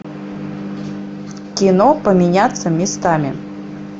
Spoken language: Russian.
кино поменяться местами